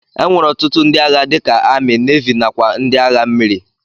Enwere ọtụtụ ndi agha dika ami, navi nakwa ndi agha mmiri.